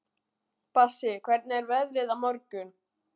Bassí, hvernig er veðrið á morgun?